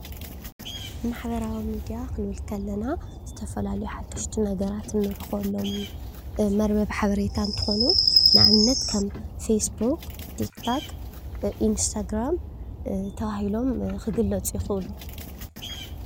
ማሕበራዊ ሚድያ ክንብል ከለና ዝተፈላለዩ ሓደሽቲ ነገራት እንረክበሎም መርበብ ሓበሬታ እንትኮኑ። ንኣብነት ፌስቡክ፣ ቲክቶክ፣ ኢንስታግራም ተባሂሎም ክግለፁ ይክእሉ፡፡